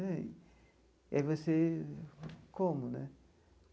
E aí você... Como, né?